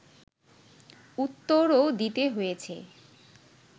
উত্তরও দিতে হয়েছে